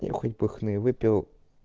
мне хоть бы хны выпил